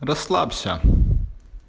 расслабься